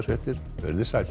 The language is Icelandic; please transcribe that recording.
veriði sæl